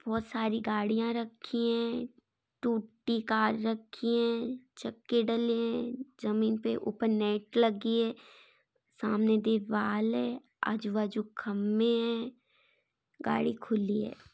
बहुर सारी गाड़ियां रखी है टूटी कार रखी है चक्के डले है जमीन पर ऊपर नेट लगी है सामने दीवाल है आजू बाजू खम्बे है गाड़ी खुली है।